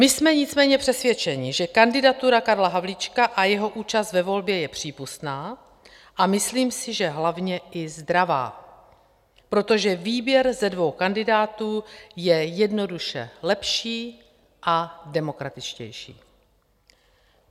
My jsme nicméně přesvědčeni, že kandidatura Karla Havlíčka a jeho účast ve volbě je přípustná, a myslím si, že hlavně i zdravá, protože výběr ze dvou kandidátů je jednoduše lepší a demokratičtější.